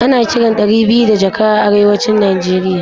Ana kiran ɗari biyu da jaka a arewacin Nigeria